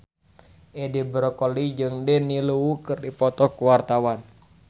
Edi Brokoli jeung Daniel Wu keur dipoto ku wartawan